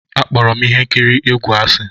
Akpọrọ m ihe nkiri egwu asị.